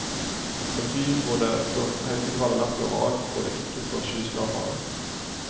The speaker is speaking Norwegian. En by hvor det står heisekraner nesten overalt hvor det ikke står skyskrapere.